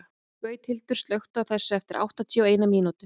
Gauthildur, slökktu á þessu eftir áttatíu og eina mínútur.